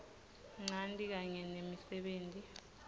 ncanti kanye nemisebenti